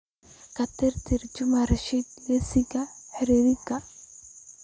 ka tirtir juma rashid liiska xiriirka